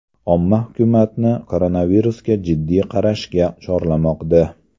Omma hukumatni koronavirusga jiddiy qarashga chorlamoqda.